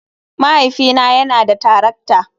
Mahaifina yana da tarakta.